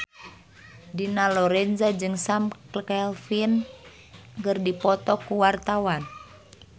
Dina Lorenza jeung Sam Claflin keur dipoto ku wartawan